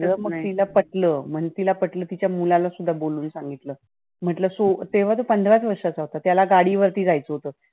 तिला सांगितलं सगळ. मग तिला ते पटलं. तिला ते पटलं तर ते तिच्या मुलाला पण बोलावून सांगितलं. म्हंटल चूक. तेव्हा तर पंधराच वर्षाचा होता, तेव्हा त्याला गाडीवर जायचं होत.